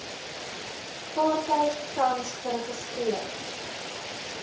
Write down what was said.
vaartuig tans geregistreer